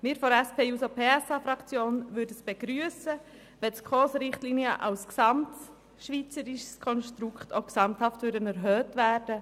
Wir von der SP-JUSO-PSA-Fraktion würden es begrüssen, wenn die SKOS-Richtlinien als gesamtschweizerisches Konstrukt auch gesamthaft erhöht würden.